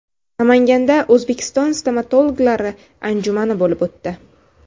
Namanganda O‘zbekiston stomatologlari anjumani bo‘lib o‘tdi.